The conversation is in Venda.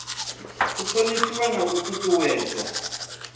u thonifhiwa na u ṱuṱuwedzwa